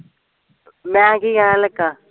ਮੈਂ ਕੀ ਕਹਿਣ ਲੱਗਾ